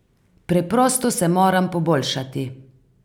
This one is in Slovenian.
Preprosto se moram poboljšati.